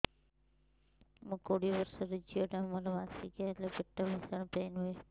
ମୁ କୋଡ଼ିଏ ବର୍ଷର ଝିଅ ଟା ମୋର ମାସିକିଆ ହେଲେ ପେଟ ଭୀଷଣ ପେନ ହୁଏ